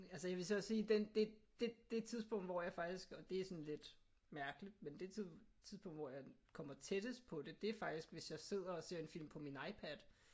Altså jeg vil så også sige den det det det tidspunkt hvor jeg faktisk og det er sådan lidt mærkeligt men det tidspunkt hvor jeg kommer tættest på det det er faktisk hvis jeg sidder og ser en film på min iPad